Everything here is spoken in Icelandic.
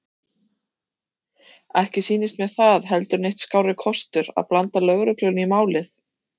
Ekki sýndist mér það heldur neitt skárri kostur að blanda lögreglunni í málið.